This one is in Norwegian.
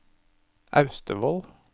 Austevoll